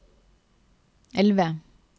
elve